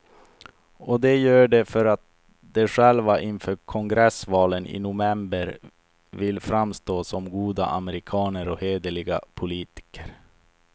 Och de gör det för att de själva inför kongressvalen i november vill framstå som goda amerikaner och hederliga politiker.